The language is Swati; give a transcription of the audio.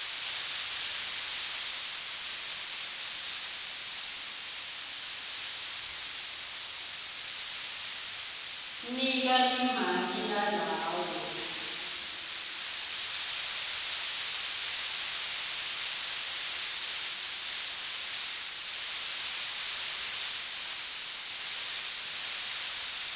nika limaki lalawo